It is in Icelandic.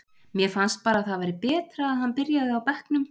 Mér fannst bara að það væri betra að hann byrjaði á bekknum.